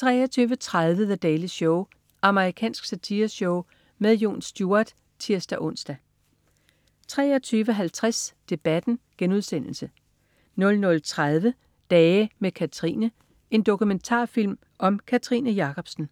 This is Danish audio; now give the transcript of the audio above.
23.30 The Daily Show. Amerikansk satireshow med Jon Stewart (tirs-ons) 23.50 Debatten* 00.30 Dage med Kathrine. En dokumentarfilm om Kathrine Jacobsen